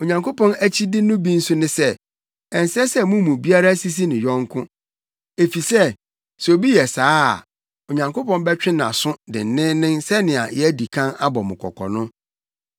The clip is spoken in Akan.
Onyankopɔn akyide no bi nso ne sɛ, ɛnsɛ sɛ mo mu biara sisi ne yɔnko, efisɛ sɛ obi yɛ saa a, Onyankopɔn bɛtwe nʼaso denneennen sɛnea yɛadi kan abɔ mo kɔkɔ no.